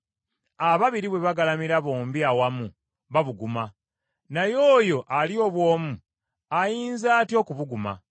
Ababiri bwe bagalamira bombi awamu babuguma; naye oyo ali obw’omu, ayinza atya okubuguma?